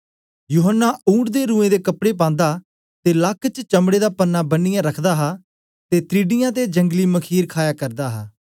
यूहन्ना ऊंट दे रुएं दे कपड़े पांदा ते लाक च चमड़े दा परनां बन्नीयै रखदा हा ते त्रिडियां ते जंगली मखीर खाया करदा हा